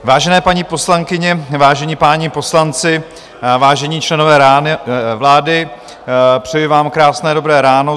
Vážené paní poslankyně, vážení páni poslanci, vážení členové vlády, přeji vám krásné dobré ráno.